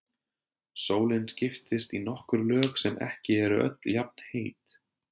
Sólin skiptist í nokkur lög sem ekki eru öll jafnheit.